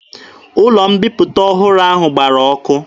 Ụlọ mbiputa ọhụrụ ahụ gbara ọkụ.